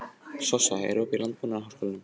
Sossa, er opið í Landbúnaðarháskólanum?